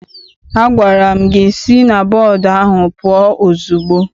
Agwara m gị si na bọọdụ ahụ pụọ ozugbo!